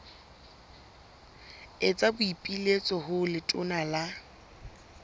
etsa boipiletso ho letona la